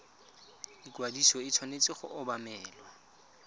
ikwadiso e tshwanetse go obamelwa